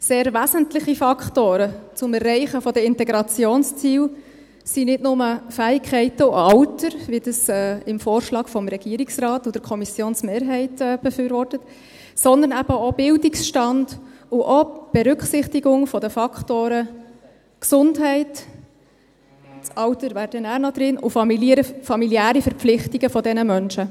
Sehr wesentliche Faktoren zum Erreichen der Integrationsziele sind nicht nur Fähigkeiten und Alter, wie das der Vorschlag des Regierungsrates und der Kommissionsmehrheit befürwortet, sondern eben auch Bildungsstand sowie auch die Berücksichtigung der Faktoren Gesundheit – das Alter wäre dann später noch drin – und familiäre Verpflichtungen dieser Menschen.